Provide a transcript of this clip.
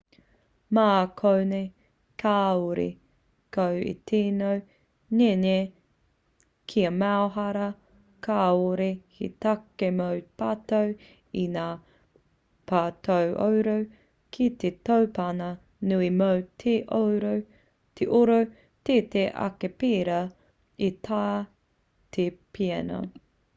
mā konei kāore koe e tino ngenge kia maumahara kāore he take mō te pato i ngā patooro ki te tōpana nui mō te oro teitei ake pērā i tā te piano